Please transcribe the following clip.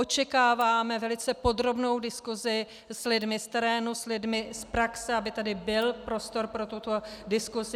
Očekáváme velice podrobnou diskusi s lidmi z terénu, s lidmi z praxe, aby tady byl prostor pro tuto diskusi.